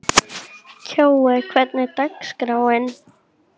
Kjói, hvernig er dagskráin?